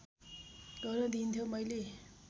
गर्न दिइन्थ्यो मैले